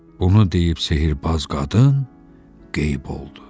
Bunu deyib sehrbaz qadın qeyb oldu.